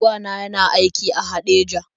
Wa na yana aiki a Haɗeja.